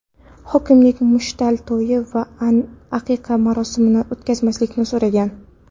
Hokimlik muchal to‘yi va aqiqa marosimini o‘tkazmaslikni so‘ragan.